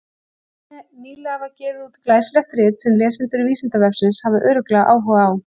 Nýlega var gefið út glæsilegt rit sem lesendur Vísindavefsins hafa örugglega áhuga á.